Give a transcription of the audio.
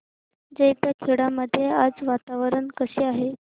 जैताखेडा मध्ये आज वातावरण कसे आहे